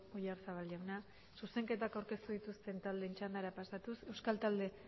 oyarzabal jauna zuzenketak aurkeztu dituzten taldeen txandara pasatuz euskal talde